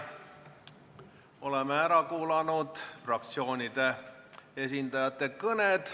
Oleme ära kuulanud fraktsioonide esindajate kõned.